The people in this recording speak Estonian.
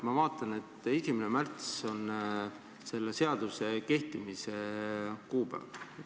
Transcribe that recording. Ma vaatan, et 1. märts on selle seaduse kehtima hakkamise kuupäev.